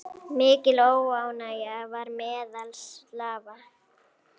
Mikil óánægja var meðal slava.